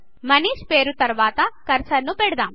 మనీష్ పేరు తర్వాత కర్సర్ ను పెడదాం